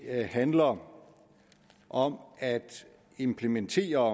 handler om om at implementere